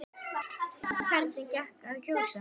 En hvernig gekk að kjósa?